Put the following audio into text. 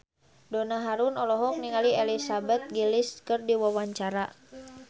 Donna Harun olohok ningali Elizabeth Gillies keur diwawancara